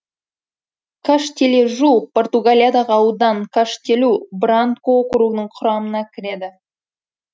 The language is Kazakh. каштележу португалиядағы аудан каштелу бранку округінің құрамына кіреді